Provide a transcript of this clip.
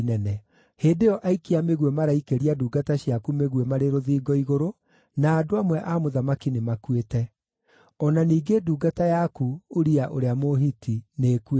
Hĩndĩ ĩyo aikia a mĩguĩ maraikĩria ndungata ciaku mĩguĩ marĩ rũthingo igũrũ, na andũ amwe a mũthamaki nĩmakuĩte. O na ningĩ ndungata yaku, Uria ũrĩa Mũhiti, nĩĩkuĩte.”